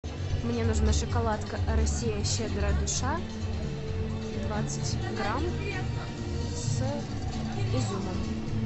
мне нужна шоколадка россия щедрая душа двадцать грамм с изюмом